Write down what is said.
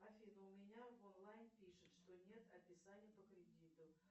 афина у меня в онлайн пишет что нет описания по кредиту